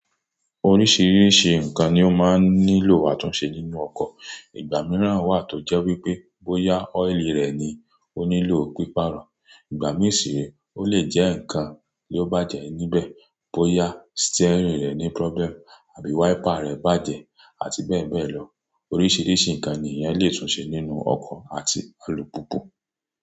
Oríṣìíríṣìí ǹkan ni ó máa nílò àtúnṣe nínú ọkọ̀. Ìgbà mìíràn wà tó jẹ́ wípé bóyá ọ́ìlì rẹ̀ ni ó nílò píparun, ìgbà mìí sì ré ó lè jẹ́ ǹkan ló bàjẹ́ níbẹ̀, bóyá steering rẹ̀ ní problem àbí wiper rẹ̀ bàjẹ́ àti bẹ́ẹ̀ bẹ́ẹ̀ lọ. Oríṣìíríṣìí ǹkan ni èèyàn lè túnṣe nínú ọkọ̀ àti alùpùpù.